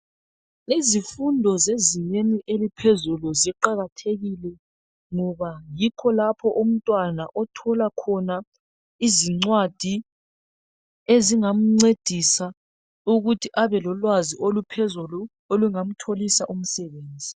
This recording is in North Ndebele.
Izifundo zezingeni eliphezulu ziqakathekile ngoba yikho lapha umntwana othola khona izincwadi ezinga mncedisa ukuthi abe lolwazi oluphezulu olunga mtholisa umsebenzi..